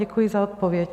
Děkuji za odpověď.